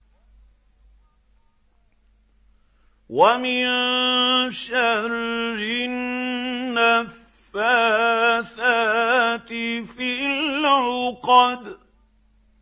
وَمِن شَرِّ النَّفَّاثَاتِ فِي الْعُقَدِ